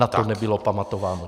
Na to nebylo pamatováno.